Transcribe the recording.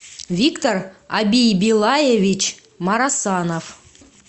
виктор абийбилаевич марасанов